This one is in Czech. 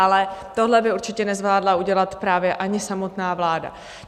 Ale tohle by určitě nezvládla udělat právě ani samotná vláda.